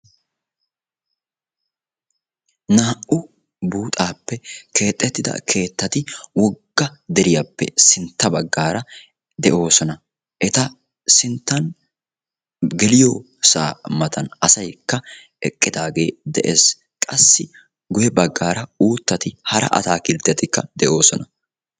naa'u buuxaappe keexetida keettati woga deriyaappe sintta bagaara de'oosona. eta sinttan geliyoosaa matan asay sintta bagaara eqqidaagee de'ees. qassi guye bagaara uuttati hara ataakilttetikka de'oosona.